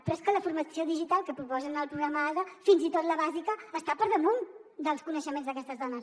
però és que la formació digital que proposen al programa ada fins i tot la bàsica està per damunt dels coneixements d’aquestes dones